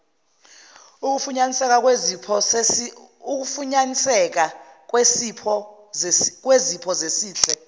ukufunyaniseka kwezipho zesihle